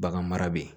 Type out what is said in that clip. Bagan mara bɛ yen